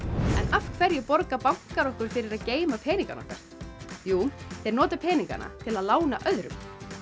af hverju borga bankar okkur fyrir að geyma peningana okkar jú þeir nota peningana til að lána öðrum